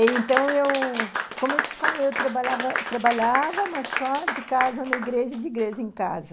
Então, eu... Como eu te falei, eu trabalhava trabalhava, mas só de casa na igreja e de igreja em casa.